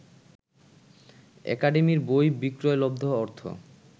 একাডেমির বই বিক্রয়লব্ধ অর্থ